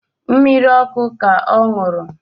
Mmiri ọkụ ka ọ ṅụrụ